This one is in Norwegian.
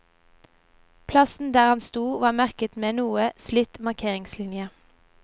Plassen der han sto, var merket med en noe slitt markeringslinje.